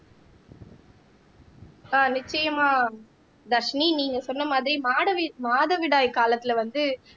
ஆஹ் நிச்சயமா தர்ஷினி நீங்க சொன்ன மாதிரி மாதவிடாய் காலத்துல வந்து